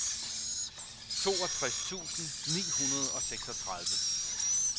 toogtres tusind ni hundrede og seksogtredive